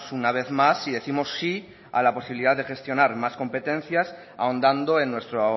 una vez más y décimos sí a la posibilidad de gestionar más competencias ahondando en nuestro